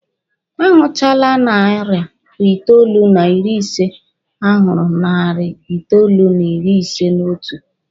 A hụchaa narị itoolu na iri ise, a hụ narị itoolu n'ịrị ise n'otu.